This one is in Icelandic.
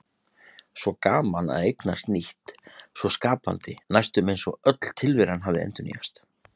Svo gaman að eignast nýtt, svo skapandi, næstum eins og öll tilveran hafi endurnýjast.